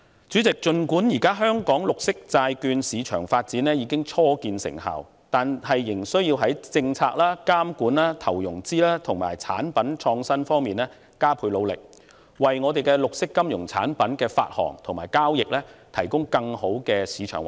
主席，儘管現時香港綠色債券市場發展初見成效，但當局仍須在政策、監管、投融資及產品創新方面加倍努力，為本地綠色金融產品的發行和交易提供更好的主場環境。